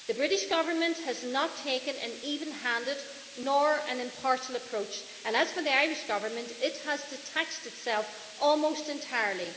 The British Government has not taken an even handed, nor an impartial, approach and, as for the Irish Government, it has detached itself almost entirely.